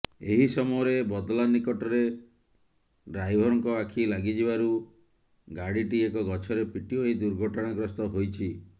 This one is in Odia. ଏହି ସମୟରେ ବଦଲା ନିକଟରେ ଡ୍ରାଇଭରଙ୍କ ଆଖି ଲାଗିଯିବାରୁ ଗାଡିଟି ଏକ ଗଛରେ ପିଟି ହୋଇ ଦୁର୍ଘଟଣାଗ୍ରସ୍ତ ହୋଇଛି